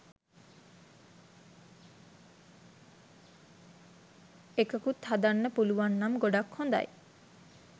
එකකුත් හදන්න පුලුවන්නම් ගොඩක් හොදයි.